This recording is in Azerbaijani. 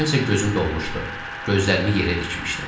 Mənim isə gözüm dolmuşdu, gözlərimi yerə dikmişdim.